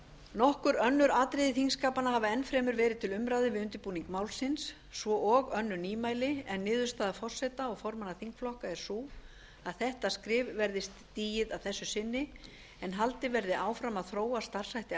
nokkur önnur atriði þingskapanna hafa enn fremur verið til umræðu við undirbúning málsins svo og önnur nýmæli en niðurstaða forseta og formanna þingflokka er sú að þetta skref verði stigið að þessu sinni en haldið verði áfram að þróa starfshætti